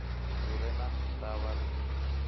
lu re na ndavha ri